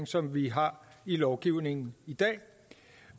som vi har i lovgivningen i